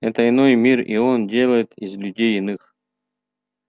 это иной мир и он делает из людей иных